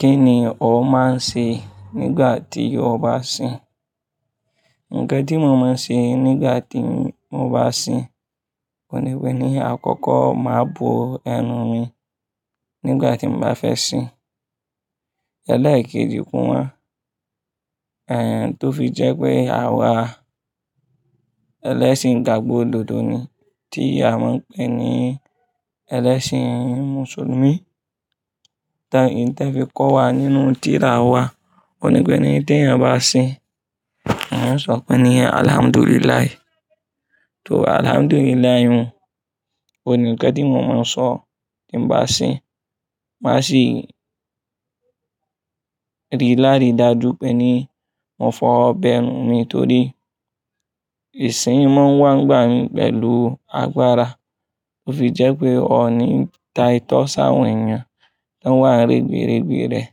Kini ọ máa ń ṣe nígbà tí o bá sìn? Ǹkan tí mo máa ń ṣe nígbà tí mo bá sìn, oun ní pé ní àkọ́kọ́ máa bo ẹnu mi nígbà tí mo bá fẹ́ Ẹlẹ́ẹ̀kejì kù mo, ẹ̀ tó fi jẹ́ pé à wá ẹlẹ́ṣin igbagbo odòdò ni, tí à man pè ní ẹlẹ́ṣin Mùsùlùmí, tán tì fi kọ́ wa nínú tìrà wà kó ní pé ní tí ẹ bá sìn, wọ́n sọ pé ní "Alhamdulillah". Tó Alhamdulillah, kó nì ǹkẹ́ tí mo máa sọ ti mó bá sìn. Máṣé rí lárí dáajú pè ní mó fọ bẹẹnu mi tórí, ìṣin mọ́n wá gbọ̀n mí pẹ̀lú agbárá, tó fi jẹ́ pé, ọ ní tà itọ́ sàwọ̀n ẹyan tó wà ń règbè règbè rẹ̀,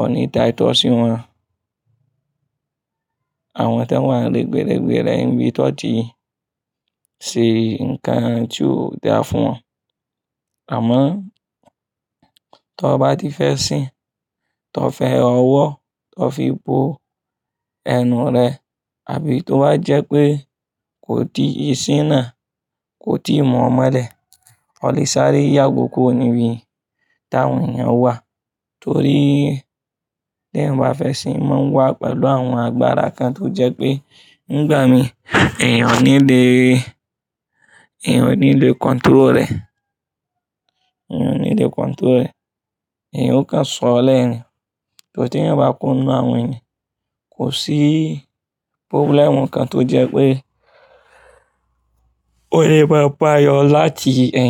ọ ní tà itọ́ sí wọn, àwọn tó ń wà ń règbè règbè rẹ̀, níbí tọ̀ tí ṣé ǹkan tí ó dáa fún wọn. Àmọ́, tọ bá ti fẹ́ sìn, tí ọ fi ọwọ́, tí ó fí bo ẹnu rẹ̀, àbí tó bá jẹ́ pé kò tí ìṣin náà kò tí mọ̀ ọ́n mọ́lẹ̀, ó lè sáré yàgò kò níbí tàn ẹyin yàn wà. Tórí, tí eyan bá fẹ́ sìn, o mọ́n wá pẹ̀lú àwọn agbárá kan tó jẹ́ pé, nígbà mí, ẹ̀yan ò ní lè, ẹ̀yan ò ní lè control rẹ̀, ẹ̀yan ò ní lè control rẹ̀, ẹ̀yan ò kàn ń sọ̀ ọ́ lẹ́ ni Te ẹ̀yan bá kúro ninu àwọn ènìyàn, kò sí problem kan tó jẹ́ pé, ó lè bá pà ọ̀ láti ẹ̀yin.